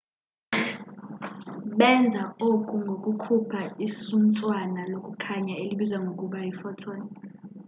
benza oku ngokukhupha isuntswana lokukhanya elibizwa ngokuba yi photon